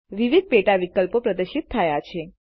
વિવધ પેટા વિકલ્પો પ્રદર્શિત થાય છે